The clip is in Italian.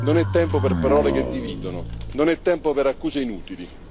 Non è tempo per parole che dividono, non è tempo per accuse inutili.